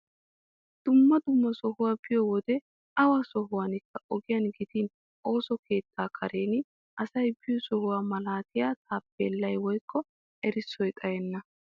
Dumma dumma sohuwa biyo wode awa sohuwankka ogiyan gidin ooso keettaa karen asay biyo sohuwa malaatiya taappeellay woykko erissoy xayenna.